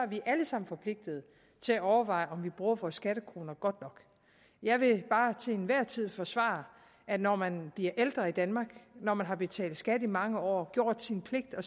vi alle sammen forpligtet til at overveje om vi bruger vores skattekroner godt nok jeg vil bare til enhver tid forsvare at når man bliver ældre i danmark når man har betalt skat i mange år gjort sin pligt og